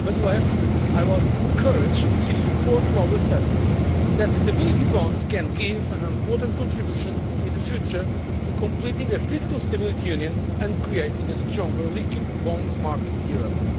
Nevertheless, I was encouraged to see support for our assessment that stability bonds can make an important contribution in the future to completing a fiscal stability union and creating a stronger liquid bonds market in Europe.